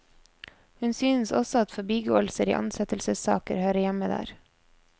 Hun synes også at forbigåelser i ansettelsessaker hører hjemme der.